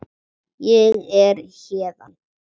Ég er héðan